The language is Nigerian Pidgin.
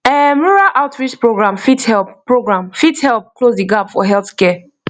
erm rural outreach program fit help program fit help close the gap for healthcare